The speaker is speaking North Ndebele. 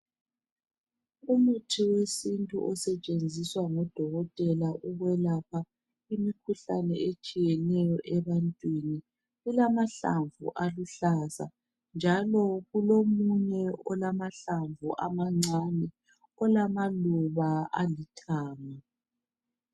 Umuthi wesintu osetshenziswa ngudokotela ukwelapha imikhuhlane etshiyeneyo ebantwini. Kulamahlamvu aluhlaza njalo kulo munye olamahlamvu amancane. olamaluba alithanga